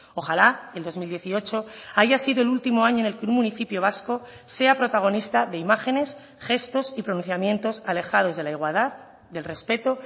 ojalá el dos mil dieciocho haya sido el último año en el que un municipio vasco sea protagonista de imágenes gestos y pronunciamientos alejados de la igualdad del respeto